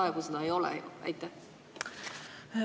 Praegu seda lahendust ei ole ju.